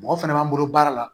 Mɔgɔ fɛnɛ b'an bolo baara la